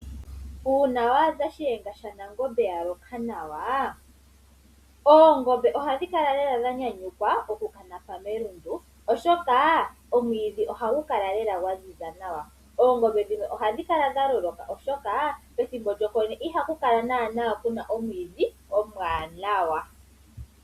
Uuna waadha Shiyenga shanangombe yaloka nawa oongombe ohadhi kala lela dha nyanyukwa okukanapa melundu, oshoka omwiidhi ohagu kala lela gwaziza nawa. Oongombe ndhino ohadhi kala dhaloloka oshoka pethimbo lyokwenye ihapu kala naana puna omwiidhi omwaanawa.